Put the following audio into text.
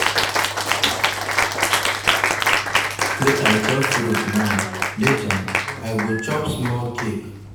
Make I chop fruit now, later, I go chop small cake.